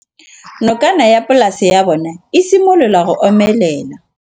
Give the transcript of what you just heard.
Nokana ya polase ya bona, e simolola go omelela.